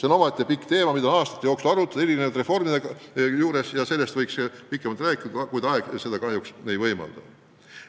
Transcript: See on omaette teema, mida on aastate jooksul eri reformidega seotult arutatud ja sellest võiks pikemalt rääkida, kuid aeg seda kahjuks ei võimalda.